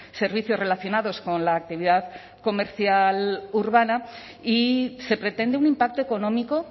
servicios relacionados con la actividad comercial urbana y se pretende un impacto económico